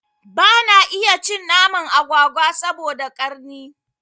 Bana iya cin naman agwagwa saboda ƙarni